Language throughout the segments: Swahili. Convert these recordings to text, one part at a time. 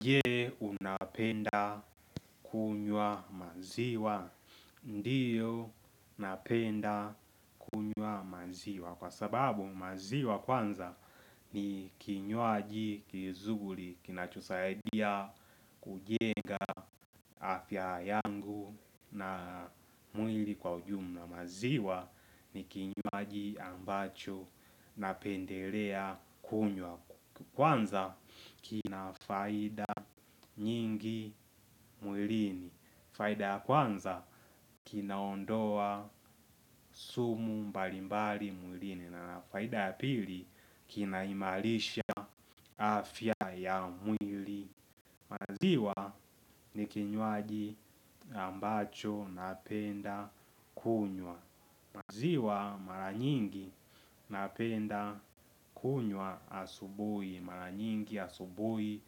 Je unapenda kunywa maziwa? Ndiyo napenda kunywa maziwa kwa sababu maziwa kwanza ni kinywaji kizuri kinachosaidia kujenga afya yangu na mwili kwa ujumla maziwa. Ni kinywaji ambacho napendelea kunywa. Kwanza kina faida nyingi mwilini. Faida ya kwanza kinaondoa sumu mbalimbali mwilini. Na na faida ya pili kinaimarisha afya ya mwili. Maziwa ni kinywaji ambacho napenda kunywa. Maziwa mara nyingi napenda kunywa asubuhi mara nyingi asubuhi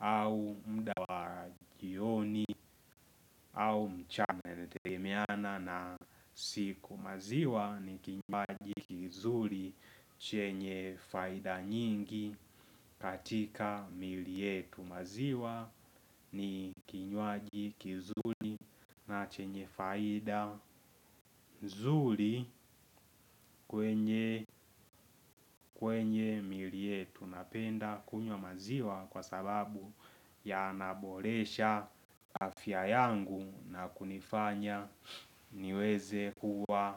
au muda wa jioni au mchana inategemeana na siku. Maziwa ni kinywaji kizuri chenye faida nyingi katika mili yetu. Maziwa ni kinywaji, kizuri na chenye faida nzuri kwenye kwenye miili yetu napenda kunywa maziwa kwa sababu yanaboresha afya yangu. Na kunifanya niweze kuwa.